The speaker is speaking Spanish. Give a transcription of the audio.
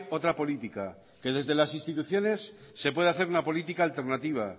otra política que desde las instituciones se puede hacer una política alternativa